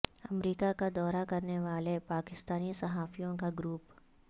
امریکہ کا دورہ کرنے والے پاکستانی صحافیوں کا گروپ